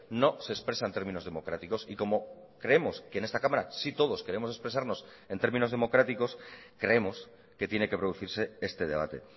no se expresa en términos democráticos y como creemos que en esta cámara sí todos queremos expresarnos en términos democráticos creemos que tiene que producirse este debate